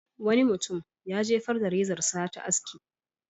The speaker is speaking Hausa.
Wani mutum ya jefar da rezarsa ta aski.